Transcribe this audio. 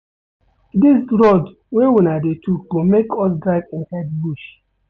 Dis road wey una dey tok go make us drive inside bush.